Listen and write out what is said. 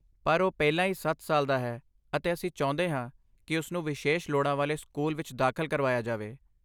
ਪਰ, ਉਹ ਪਹਿਲਾਂ ਹੀ ਸੱਤ ਸਾਲ ਦਾ ਹੈ ਅਤੇ ਅਸੀਂ ਚਾਹੁੰਦੇ ਹਾਂ ਕਿ ਉਸਨੂੰ ਵਿਸ਼ੇਸ਼ ਲੋੜਾਂ ਵਾਲੇ ਸਕੂਲ ਵਿੱਚ ਦਾਖਲ ਕਰਵਾਇਆ ਜਾਵੇ